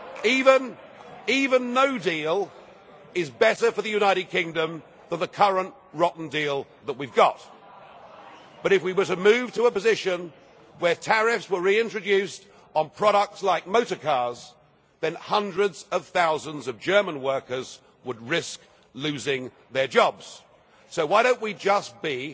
Even no deal is better for the United Kingdom than the current rotten deal that we have got. But if we were to move to a position where tariffs were reintroduced on products like motor cars, then hundreds of thousands of German workers would risk losing their jobs. So why don't we just